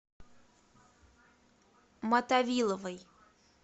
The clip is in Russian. мотовиловой